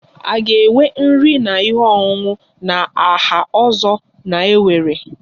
A ga-enwe nri na ihe ọṅụṅụ na aha ozo na-ewere?